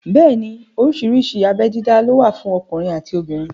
Bẹ́ẹ̀ni oríṣiríṣi abé dídá ló wà fún ọkùnrin àti obìnrin